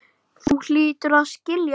Þú hlýtur að skilja það.